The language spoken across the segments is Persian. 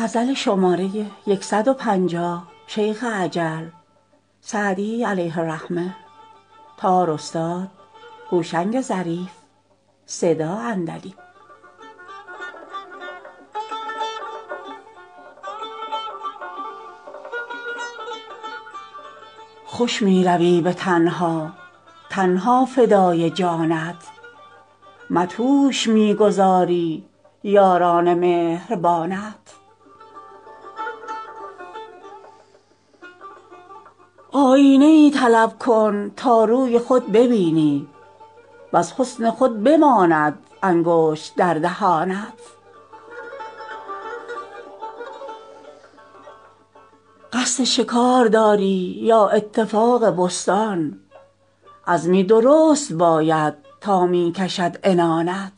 خوش می روی به تنها تن ها فدای جانت مدهوش می گذاری یاران مهربانت آیینه ای طلب کن تا روی خود ببینی وز حسن خود بماند انگشت در دهانت قصد شکار داری یا اتفاق بستان عزمی درست باید تا می کشد عنانت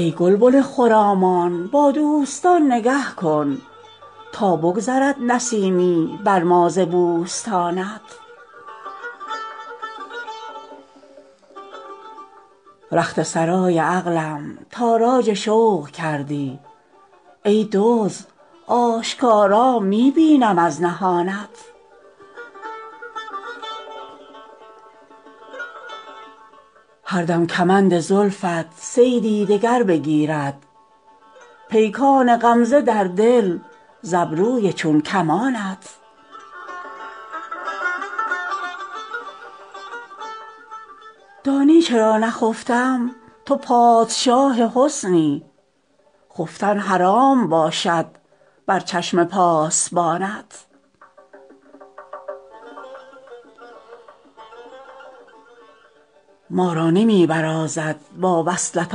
ای گلبن خرامان با دوستان نگه کن تا بگذرد نسیمی بر ما ز بوستانت رخت سرای عقلم تاراج شوق کردی ای دزد آشکارا می بینم از نهانت هر دم کمند زلفت صیدی دگر بگیرد پیکان غمزه در دل ز ابروی چون کمانت دانی چرا نخفتم تو پادشاه حسنی خفتن حرام باشد بر چشم پاسبانت ما را نمی برازد با وصلت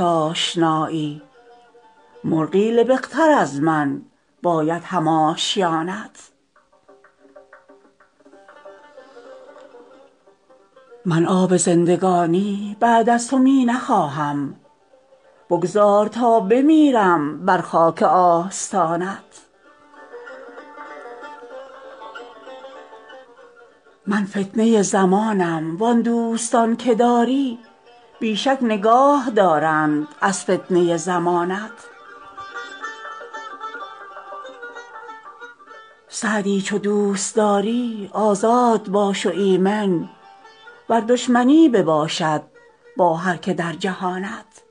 آشنایی مرغی لبق تر از من باید هم آشیانت من آب زندگانی بعد از تو می نخواهم بگذار تا بمیرم بر خاک آستانت من فتنه زمانم وان دوستان که داری بی شک نگاه دارند از فتنه زمانت سعدی چو دوست داری آزاد باش و ایمن ور دشمنی بباشد با هر که در جهانت